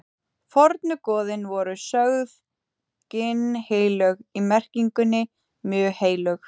fornu goðin voru sögð ginnheilög í merkingunni mjög heilög